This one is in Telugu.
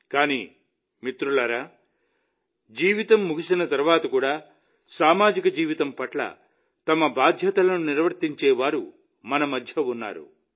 కానీ మిత్రులారా జీవితం ముగిసిన తర్వాత కూడా సామాజిక జీవితం పట్ల తమ బాధ్యతలను నిర్వర్తించే వారు మన మధ్య ఉన్నారు